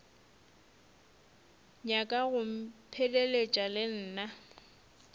nyaka go mpheleletša le nna